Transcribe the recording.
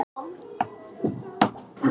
Daði, hvað er í matinn?